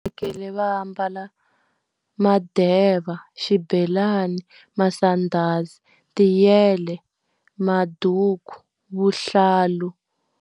va ambala madeva, xibelani, masandhazi, tiyele, maduku, vuhlalu.